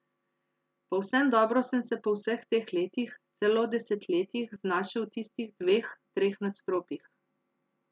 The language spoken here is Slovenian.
Povsem dobro sem se po vseh teh letih, celo desetletjih znašel v tistih dveh, treh nadstropjih.